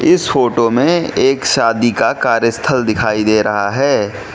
इस फोटो में एक शादी का कार्य स्थल दिखाई दे रहा है।